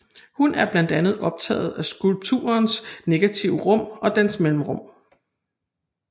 Hun er blandt andet optaget af skulpturens negative rum og dens mellemrum